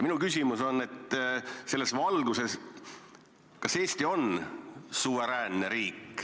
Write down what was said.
Ma küsin selles valguses, kas Eesti on suveräänne riik.